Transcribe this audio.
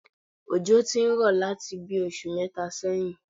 Òjò ti ń rọ̀ láti bí i oṣù mẹ́ta sẹ́yìn